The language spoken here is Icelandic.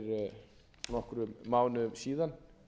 fyrir nokkrum mánuðum síðan